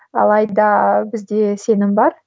алайда бізде сенім бар